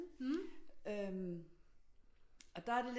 Øh og der er det